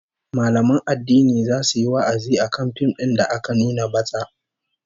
Mallaman addini zasu yi wa'azi akan fim din da aka nuna batsa